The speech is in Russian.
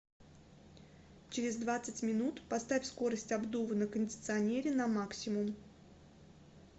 через двадцать минут поставь скорость обдува на кондиционере на максимум